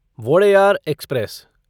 Wodeyar express